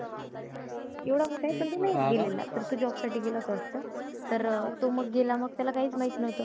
एवढा मोठा आहे नाही गेलेला. तर तो job साठी गेला होता वाटतं. तर मग तो गेला त्याला काहीच माहित न्हवतं.